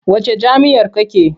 Wacce jam'iyyar kake?